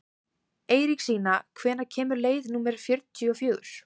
Eiríksína, hvenær kemur leið númer fjörutíu og fjögur?